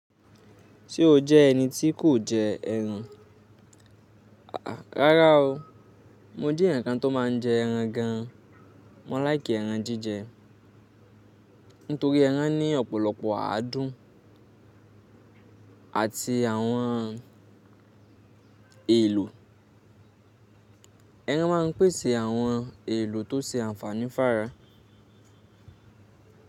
Ṣé o jẹ́ ẹni tí kò jẹ ẹran? Rárá o, mo jẹ́ ẹ̀yàn kan tó má ń jẹ ẹran gan. Mọ́ like ẹran jíjẹ nítorí ẹran ní ọpọlọpọ àádùn àti àwọn èlò. Ẹran má ń pèsè àwọn èlò tó ṣe ànfàní f'ára.